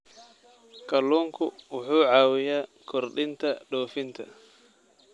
Kalluunku wuxuu caawiyaa kordhinta dhoofinta.